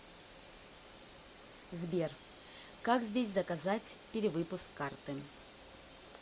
сбер как здесь заказать перевыпуск карты